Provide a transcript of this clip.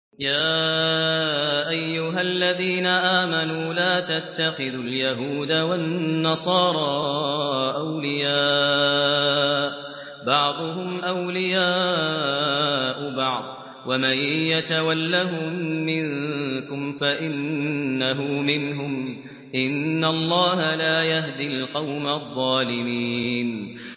۞ يَا أَيُّهَا الَّذِينَ آمَنُوا لَا تَتَّخِذُوا الْيَهُودَ وَالنَّصَارَىٰ أَوْلِيَاءَ ۘ بَعْضُهُمْ أَوْلِيَاءُ بَعْضٍ ۚ وَمَن يَتَوَلَّهُم مِّنكُمْ فَإِنَّهُ مِنْهُمْ ۗ إِنَّ اللَّهَ لَا يَهْدِي الْقَوْمَ الظَّالِمِينَ